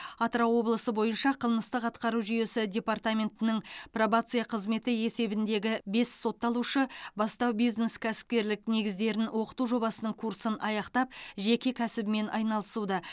атырау облысы бойынша қылмыстық атқару жүйесі департаментінің пробация қызметі есебіндегі бес сотталушы бастау бизнес кәсіпкерлік негіздерін оқыту жобасының курсын аяқтап жеке кәсібімен айналысуда